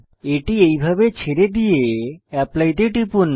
এটি এইভাবে ছেড়ে দিয়ে অ্যাপলি তে টিপুন